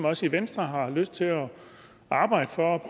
os i venstre har lyst til at arbejde for